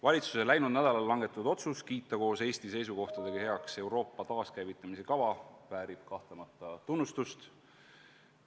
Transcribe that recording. Valitsuse läinud nädalal langetatud otsus kiita koos Eesti seisukohtadega heaks Euroopa taaskäivitamise kava, väärib kahtlemata tunnustust.